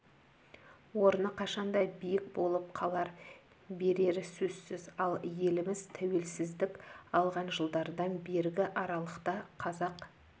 орны қашанда биік болып қала берері сөзсіз ал еліміз тәуелсіздік алған жылдардан бергі аралықта қазақ